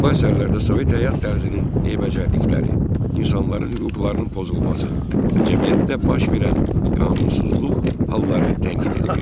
Bu əsərlərdə Sovet həyat tərzinin eybəcərlikləri, insanların hüquqlarının pozulması və cəmiyyətdə baş verən qanunsuzluq halları tənqid edilirdi.